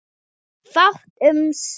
Fátt um svör.